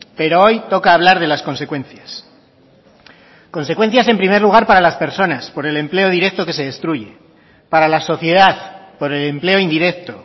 pero hoy toca hablar de las consecuencias consecuencias en primer lugar para las personas por el empleo directo que se destruye para la sociedad por el empleo indirecto